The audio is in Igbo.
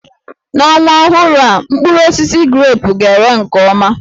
N'ọnwa ọhụrụ a, mkpụrụ osisi grepụ ga-ere nke ọma